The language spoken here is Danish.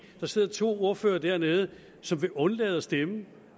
der sidder to ordførere dernede som vil undlade at stemme